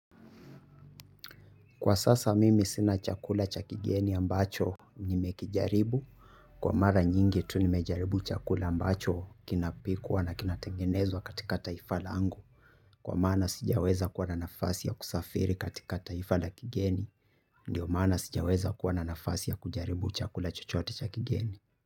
Kwa sasa mimi sina chakula cha kigeni ambacho nime kijaribu, kwa mara nyingi tu nimejaribu chakula ambacho kinapikwa na kinatengenezwa katika taifa laangu, kwa maana sijaweza kuwa na nafasi ya kusafiri katika taifa la kigeni, ndio maana sijaweza kuwa na nafasi ya kujaribu chakula chochote cha kigeni.